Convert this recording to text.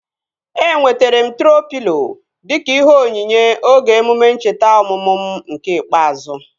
Enwetere m troo pịlo dịka ihe onyinye oge emume ncheta ọmụmụ m nke ikpeazụ